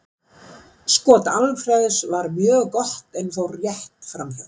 Skot Alfreðs var mjög gott en fór rétt framhjá.